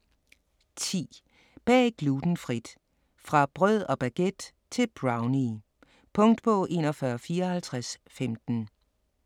10. Bag glutenfrit: fra brød og baguette til brownie Punktbog 415415